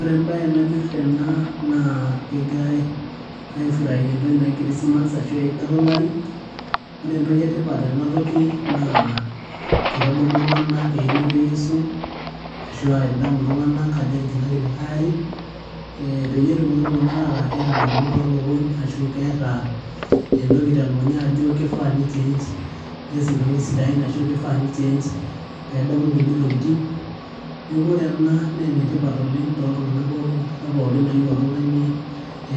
ore embaye nanyorr tena naa kegirae aefuraia entoki naji christmas ashu eidata olari ore entoki etipat tena toki naa kitadamu iltung'anak einoto eyiesu ashua itadamu iltung'anak ajo etijing'aki likae ari eh peyie etumoki iltung'anak ataa keeta indamunot tolukuny ashu keeta entoki telukunya ajo kifaa nichenj nees intokitin sidain ashu ashu kifaa nichenj nedamu inkulie tokiting neeku ore ena naa enetipat oleng toltung'anak pookin enkata pookin nayieu oltung'ani